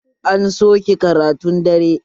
An soke karatun dare